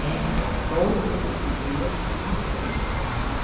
todos os dias tinha sopa.